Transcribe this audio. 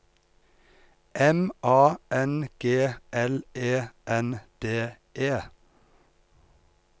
M A N G L E N D E